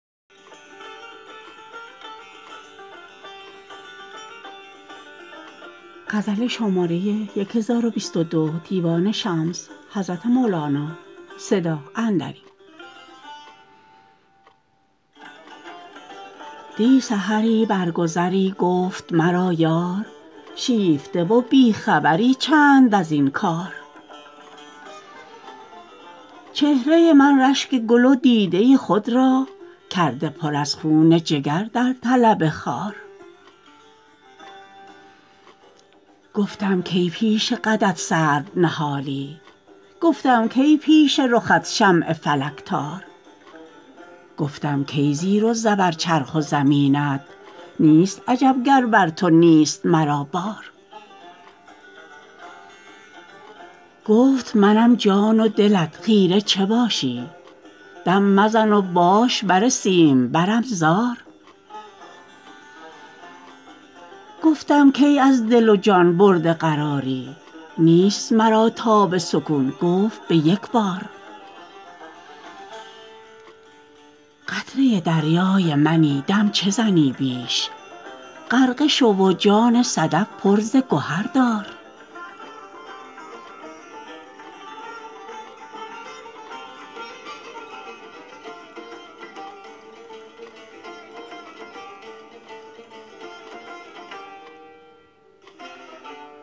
دی سحری بر گذری گفت مرا یار شیفته و بی خبری چند از این کار چهره من رشک گل و دیده خود را کرده پر از خون جگر در طلب خار گفتم کی پیش قدت سرو نهالی گفتم کی پیش رخت شمع فلک تار گفتم کی زیر و زبر چرخ و زمینت نیست عجب گر بر تو نیست مرا بار گفت منم جان و دلت خیره چه باشی دم مزن و باش بر سیمبرم زار گفتم کی از دل و جان برده قراری نیست مرا تاب سکون گفت به یک بار قطره دریای منی دم چه زنی بیش غرقه شو و جان صدف پر ز گهر دار